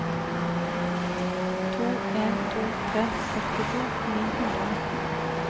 to en to tre førtito ni hundre og nitten